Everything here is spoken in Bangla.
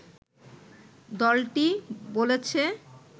দলটি বলেছে